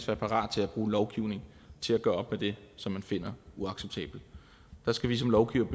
være parat til at bruge lovgivning til at gøre op med det som man finder uacceptabelt der skal vi som lovgivere